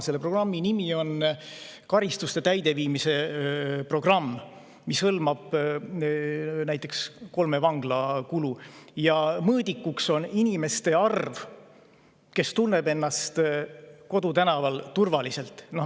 Selle programmi nimetus on karistuste täideviimise programm ja see hõlmab näiteks kolme vangla kulu, aga selle mõõdikuks on inimeste arv, kes tunnevad ennast kodutänaval turvaliselt.